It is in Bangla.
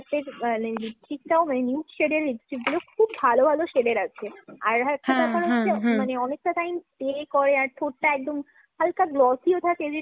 মানে nude shade এর lipstick গুলো খুব ভালো ভালো shade এর আছে। একটা ব্যাপার হচ্ছে অনেকটা time stay করে আর হালকা glossy ও থাকে।